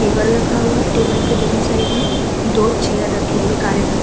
Table रखा हुआ है। टेबल के दोनों साइड में दो चेयर रखे हुए हैं काले रंग --